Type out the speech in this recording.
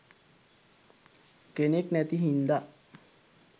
කෙනෙක් නැති හින්දා